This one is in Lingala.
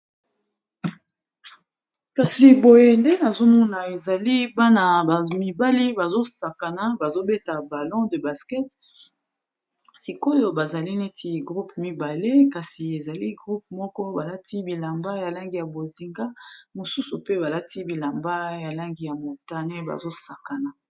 Kasi boye nde azomona ezali bana ba mibali bazosakana bazobeta balon de basket sikoyo bazali neti groupe mibale kasi ezali groupe moko balati bilamba ya langi ya bozinga, mosusu pe balati bilamba ya langi ya motane bazosakana.